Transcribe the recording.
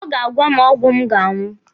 Ọ ga-agwa m ọgwụ m ga-aṅụ.